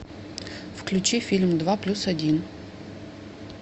включи фильм два плюс один